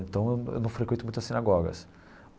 Então, eu eu não frequento muito as sinagogas.